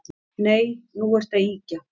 Nei, nú ertu að ýkja